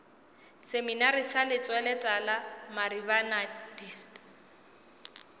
seminari sa lentsweletala maribana dist